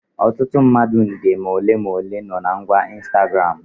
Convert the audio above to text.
Ọtụtụ mmadụ nde ma ole ma ole no na ngwa Ịnstagramụ